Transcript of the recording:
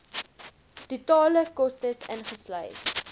totale kostes ingesluit